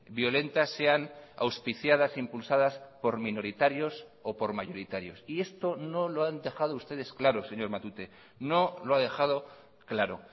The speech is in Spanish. violentas sean auspiciadas impulsadas por minoritarios o por mayoritarios y esto no lo han dejado ustedes claro señor matute no lo ha dejado claro